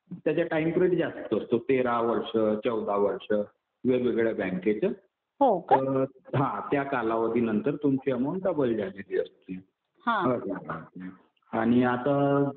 त्याचा time period जास्त असतो. तेरा वर्ष, चौदा वर्ष वेगवेगळ्या बँकेचा. हा तर त्या कालावधीनंतर तुमची अमाऊंट डबल झालेली असते. आणि आता